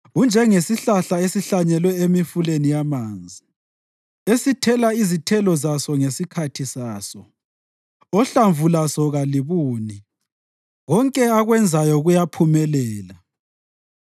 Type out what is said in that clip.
Unjengesihlahla esihlanyelwe emifuleni yamanzi, esithela izithelo zaso ngesikhathi saso, ohlamvu laso kalibuni. Konke akwenzayo kuyaphumelela.